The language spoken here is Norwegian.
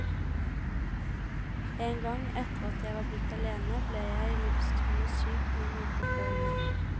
En gang, etter at jeg var blitt alene, ble jeg livstruende syk noen uker før jul.